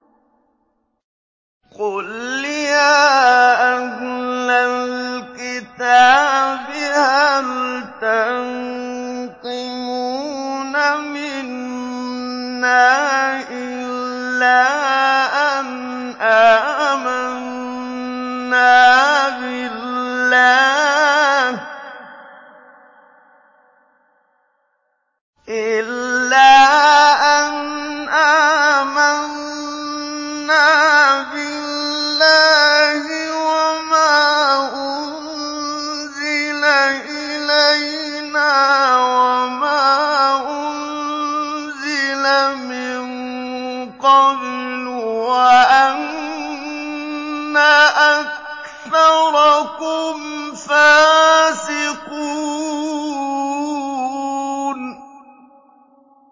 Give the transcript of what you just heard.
قُلْ يَا أَهْلَ الْكِتَابِ هَلْ تَنقِمُونَ مِنَّا إِلَّا أَنْ آمَنَّا بِاللَّهِ وَمَا أُنزِلَ إِلَيْنَا وَمَا أُنزِلَ مِن قَبْلُ وَأَنَّ أَكْثَرَكُمْ فَاسِقُونَ